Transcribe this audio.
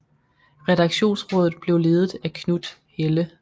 Redaktionsrådet blev ledet af Knut Helle